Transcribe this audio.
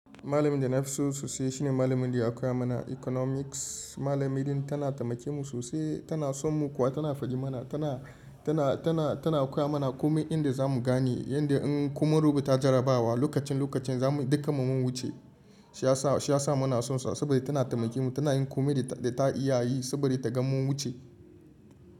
Malamin da na fi so sosai shine malamin da ya koya mana Economics. Malamin din tana taimake mu sosai, tana son mu kuwa tana faɗi mana. Tana, tana, tana, tana koya mana komai inda za mu gane yanda in komun rubuta jarrabawa lokacin, lokacin za mu duka mu mun wuce. Shi ya sa, shi ya sa muna son sa saboda tana taimake mu. Tana yin komai da ta iya yi saboda ta ga mun wuce.